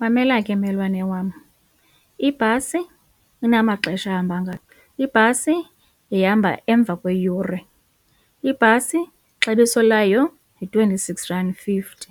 Mamela ke mmelwane wam, ibhasi inamaxesha ahamba ngayo, ibhasi ihamba emva kweyure, ibhasi ixabiso layo yi-twenty-six rand fifty,